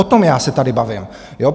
O tom já se tady bavím.